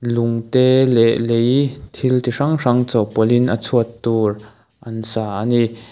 lung te leh lei thil chi hrang hrang chawhpawlhin a chhuat tur an sa a ni.